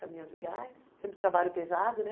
Caminhão de gás, sempre trabalho pesado, né?